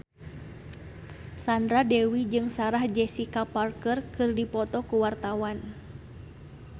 Sandra Dewi jeung Sarah Jessica Parker keur dipoto ku wartawan